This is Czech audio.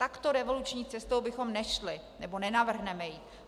Takto revoluční cestou bychom nešli, nebo nenavrhneme ji.